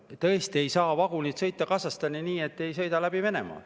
Tõesti, vagunid ei saa sõita Kasahstani nii, et nad ei sõida läbi Venemaa.